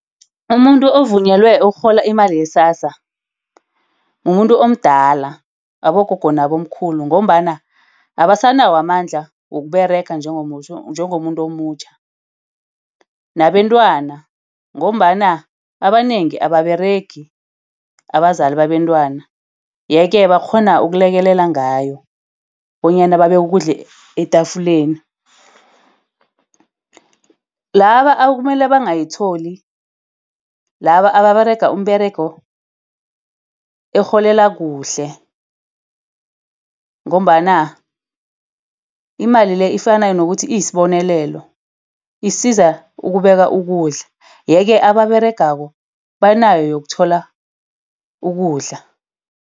Umuntu ovunyelweko ukurhola imali iye-SASSA mumuntu omdala, abogogo nabomkhulu ngombana abasanawomandla wokuberega njengomuntu omutjha nabentwana ngombana abanengi ababeregi abazali nabentwana. Yeke bakghona ukulekelela ngayo bonyana babeke kudla etafuleni. Laba ekumele bangayitholi, laba ababerega umberego erholela kuhle ngombana imali le ifana nokuthi isibonelelo. Isiza ukubeka ukudla. Yeke ababeregako banayo yokuthola ukudla.